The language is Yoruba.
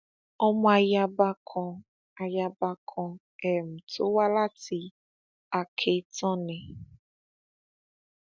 ọmọ ayaba kan ayaba kan um tó wá láti akéetàn ni